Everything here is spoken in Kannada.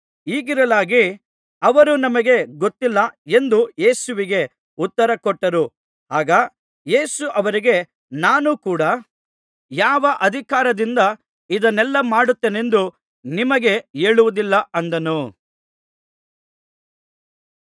ಹೀಗಿರಲಾಗಿ ಅವರು ನಮಗೆ ಗೊತ್ತಿಲ್ಲ ಎಂದು ಯೇಸುವಿಗೆ ಉತ್ತರಕೊಟ್ಟರು ಆಗ ಯೇಸು ಅವರಿಗೆ ನಾನೂ ಕೂಡ ಯಾವ ಅಧಿಕಾರದಿಂದ ಇದನ್ನೆಲ್ಲಾ ಮಾಡುತ್ತೇನೆಂದು ನಿಮಗೆ ಹೇಳುವುದಿಲ್ಲ ಅಂದನು